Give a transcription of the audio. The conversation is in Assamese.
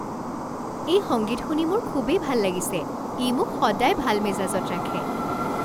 এই সংগীত শুনি মোৰ খুবেই ভাল লাগিছে। ই মোক সদায় ভাল মেজাজত ৰাখে।